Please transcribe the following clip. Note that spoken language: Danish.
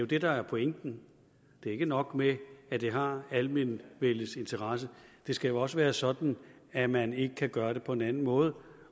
det der er pointen det er ikke nok med at det har almenvellets interesse det skal jo også være sådan at man ikke kan gøre det på en anden måde